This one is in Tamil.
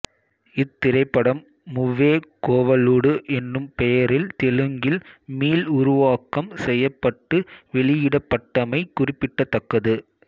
இத்திரைப்படம் முவ்வே கோவலுடு எனும் பெயரில் தெலுங்கில் மீள்உருவாக்கம் செய்யப்பட்டு வெளியிடப்பட்டமை குறிப்பிடத்தக்கது